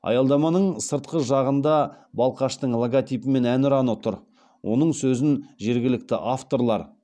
аялдаманың сыртқы жағында балқаштың логотипі мен әнұраны тұр оның сөзін жергілікті авторлар